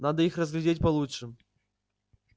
надо их разглядеть получше